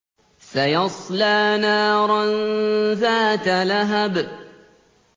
سَيَصْلَىٰ نَارًا ذَاتَ لَهَبٍ